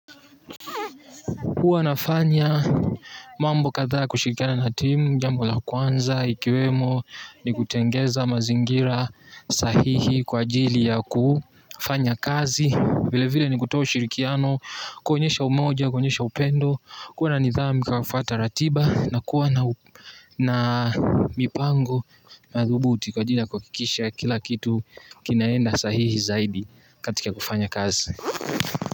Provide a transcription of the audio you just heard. Huwa nafanya mambo kathaa kushirikiana na timu jambo la kwanza ikiwemo ni kutengeza mazingira sahihi kwa ajili ya kufanya kazi vile vile ni kutoa ushirikiano kuonyesha umoja kuonyesha upendo kuwa na nidhamu kwa kufuata ratiba na kuwa na mipango thubuti kwa ajili ya kuhakikisha kila kitu kinaenda sahihi zaidi katika kufanya kazi.